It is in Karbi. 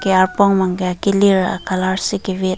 arpong bang ke akilir colour si ki vit.